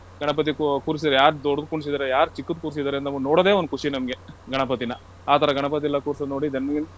ಗಣಪತಿ ಕೂ~ ಕೂರ್ಸಿರ್ ಯಾರ್ ದೊಡ್ದ್ ಕೂರ್ಸಿದರೆ, ಯಾರ್ ಚಿಕ್ಕದ್ ಕೂರ್ಸಿದ್ದಾರೆ ಅಂತ ನೋಡದೇ ಒಂದ್ ಖುಷಿ ನಮ್ಗೆ ಗಣಪತಿನ. ಆ ತರ ಗಣಪತಿ ಎಲ್ಲಾ ಕೂರ್ಸೊದ್ ನೋಡಿ ನಮ್ಗೆ.